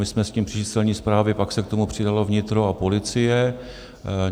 My jsme s tím přišli z Celní správy, pak se k tomu přidalo vnitro a policie.